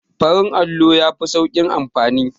Farin allo yafi sauƙin amfani